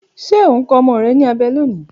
Ṣe o n kọ ọmọ rẹ ni abẹ loni?